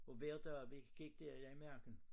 Og hver dag vi gik dér i marken